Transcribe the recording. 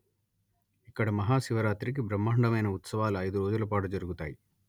ఇక్కడ మహాశివరాత్రి కి బ్రహ్మాండమైన ఉత్సవాలు ఐదు రోజుల పాటు జరుగుతాయి